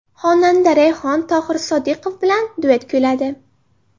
Xonanda Rayhon Tohir Sodiqov bilan duet kuyladi.